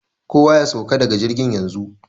Kowa ya sauka daga jirgin yanzu!